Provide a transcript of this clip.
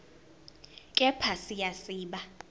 kepha siya siba